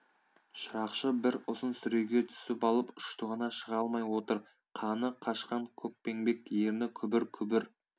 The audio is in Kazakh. шырақшы бір ұзын сүреге түсіп алып ұштығына шыға алмай отыр қаны қашқан көкпеңбек ерні күбір күбір